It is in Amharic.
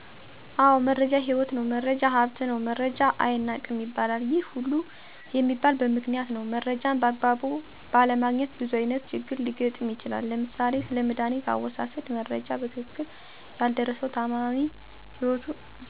አዎ! መረጃ ህይወት ነው፣ መረጃ ሀብት ነው መረጃ አይናቅም ይባለል። ይህ ሁሉ የሚባለ በምክንያት ነው። መረጃን በአግባቡ ባለማግኘት ብዙ አይነት ችግር ሊገጥም ይችላል። ለምሳሌ፦ ስለመዳኒት አወሳሠድ መረጃ በትክክል ያልደረሠው ታማሚ ህይወቱን ሊያጣ ይችላል። የሸቀጦች ዋጋ መጨመርን ያልሰማ ነጋዴ ሊከስር ይችላል። ጠላቶቹ የት እንዳሉ መረጃ የሌለው ወታደር ሊማረክ ወይም ሊሞት ይችላል። አዎ! እኔን የገጠመኝ የ9ኛ ክፍል ተማሪ እያለሁ የፈተና መርሃ ግብር ተቀይሮ የመቀየሩ መረጃ በአግባቡ ሳይደርሠኝ ቀርቶ ፈተና አልፎኝ ያውቃል።